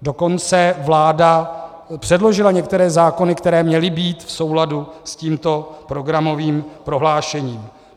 Dokonce vláda předložila některé zákony, které měly být v souladu s tímto programovým prohlášením.